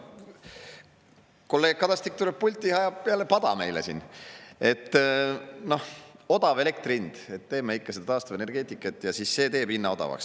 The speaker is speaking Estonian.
Kolleeg Kadastik tuleb pulti ja ajab meile siin jälle pada, et teeme ikka taastuvenergeetikat ja siis see teeb hinna odavaks.